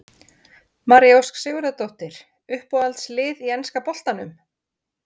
María Ósk Sigurðardóttir Uppáhalds lið í enska boltanum?